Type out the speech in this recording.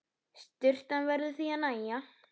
Sturtan verður því að nægja.